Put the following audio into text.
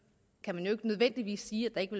kan man jo ikke nødvendigvis sige at der ikke